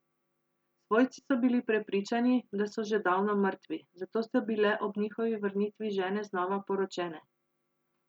Svojci so bili prepričani, da so že davno mrtvi, zato so bile ob njihovi vrnitvi žene znova poročene.